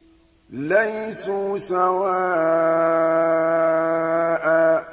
۞ لَيْسُوا سَوَاءً ۗ